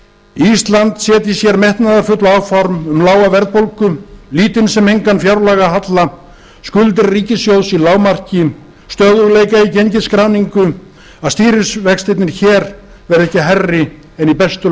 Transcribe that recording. ísland setji sér metnaðarfull áform um lága verðbólgu lítinn sem engan fjárlagahalla skuldir ríkissjóðs í lágmarki stöðugleika í gengisskráningu að stýrivextirnir hér verði ekki hærri en í bestu